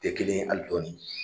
Te kelen ye ali dɔɔnin